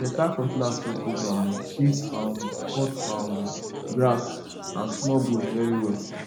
better cutlass suppose um fit um cut um grass and small bush very well